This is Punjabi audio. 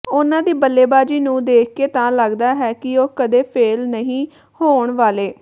ਉਨ੍ਹਾਂ ਦੀ ਬੱਲੇਬਾਜ਼ੀ ਨੂੰ ਦੇਖਕੇ ਤਾਂ ਲਗਦਾ ਹੈ ਕਿ ਉਹ ਕਦੇ ਫੇਲ੍ਹ ਨਹੀਂ ਹੋਣ ਵਾਲੇ